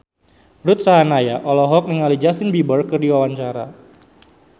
Ruth Sahanaya olohok ningali Justin Beiber keur diwawancara